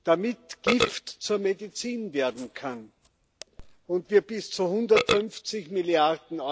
damit Gift zur Medizin werden kann und wir bis zu 150 Mrd.